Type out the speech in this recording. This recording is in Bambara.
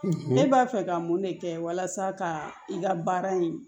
Ne b'a fɛ ka mun de kɛ walasa ka i ka baara in